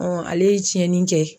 ale ye tiɲɛni kɛ.